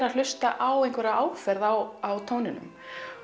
að hlusta á einhverja áferð á tóninum